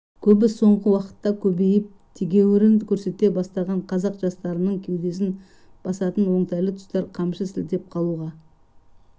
көбі соңғы уақытта көбейіп тегеуірін көрсете бастаған қазақ жастарының кеудесін басатын оңтайлы тұста қамшы сілтеп қалуға